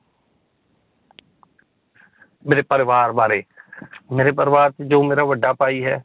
ਮੇਰੇ ਪਰਿਵਾਰ ਬਾਰੇ ਮੇਰੇ ਪਰਿਵਾਰ 'ਚ ਜੋ ਮੇਰਾ ਵੱਡਾ ਭਾਈ ਹੈ